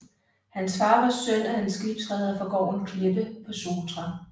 Hans far var søn af en skibsreder fra gården Kleppe på Sotra